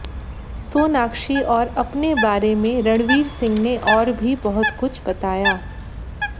सोनाक्षी और अपने बारे में रणवीर सिंह ने और भी बहुत कुछ बताया